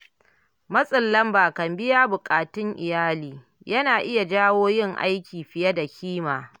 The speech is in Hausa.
Matsin lamba kan biyan buƙatun iyali yana iya jawo yin aiki fiye da kima.